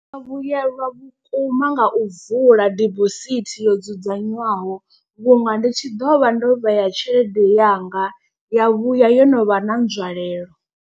Vhuyelwa vhukuma nga u vula dibosithi yo dzudzanywaho vhunga ndi tshi ḓovha ndo vhea tshelede yanga ya vhuya yo no vha na nzwalelo.